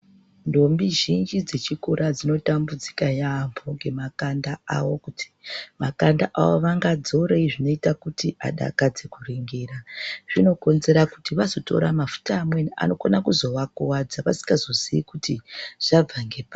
Ndombi zhinji dze chikora dzinotambudzika yambo nge makanda awo kuti makanda awo vanga dzorei zvinoita kuti adakadze ku ringira zvino konzera kuti vazotora mafuta amweni anokona kuzova kuvadza vasingazo ziii kuti zvabva ngepari.